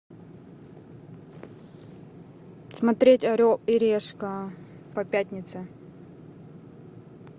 смотреть орел и решка по пятнице